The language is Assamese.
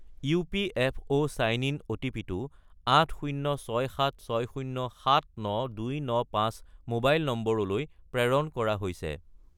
ইপিএফঅ’ চাইন ইন অ’টিপি-টো 80676079295 মোবাইল নম্বৰলৈ প্ৰেৰণ কৰা হৈছে